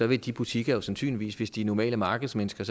vil de butikker jo sandsynligvis hvis det er normale markedsmennesker